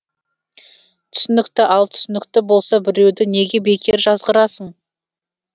түсінікті ал түсінікті болса біреуді неге бекер жазғырасың